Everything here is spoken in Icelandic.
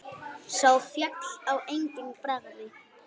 Sá féll á eigin bragði!